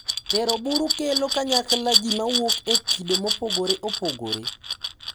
Tero buru kelo kanyakla ji mawuok e kido mopogore opogore,